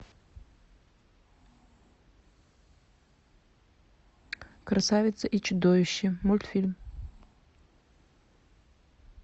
красавица и чудовище мультфильм